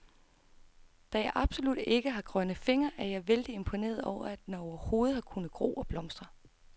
Da jeg absolut ikke har grønne fingre, er jeg vældig imponeret over, at den overhovedet har kunnet gro og blomstre.